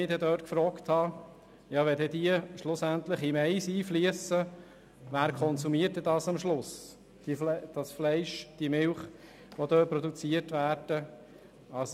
Ich habe mich allerdings gefragt, wer dann schlussendlich das Fleisch und die Milch, die dort produziert werden, konsumiert, wenn die Schadstoffe in den Mais einfliessen.